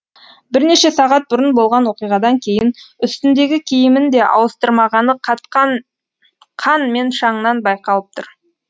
бірнеше сағат бұрын болған оқиғадан кейін үстіндегі киімін де ауыстырмағаны қатқан қан мен шаңнан байқалып тұр